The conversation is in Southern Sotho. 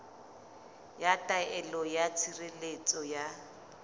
ya taelo ya tshireletso ya